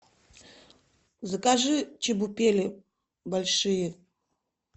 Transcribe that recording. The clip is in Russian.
закажи чебупели большие